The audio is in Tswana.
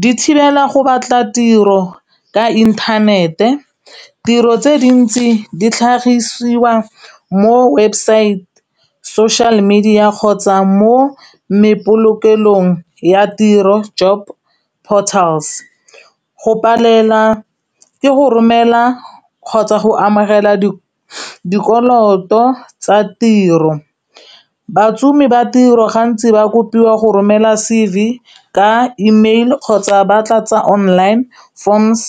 di thibela go batla tiro ka intanete tiro tse dintsi di tlhagisiwa mo website social media kgotsa mo mepolokelong ya tiro job portals, go palelwa ke go romela kgotsa go amogela dikoloto tsa tiro bašomi ba tiro gantsi ba kopiwa go romela C_V ka email kgotsa ba tlatsa online forms.